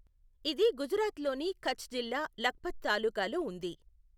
ఇది గుజరాత్లోని కచ్ జిల్లా లఖ్పత్ తాలూకాలో ఉంది.